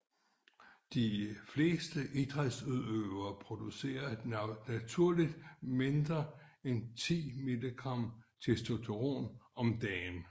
De fleste idrætsudøvere producerer naturligt mindre end 10 milligram testosteron om dagen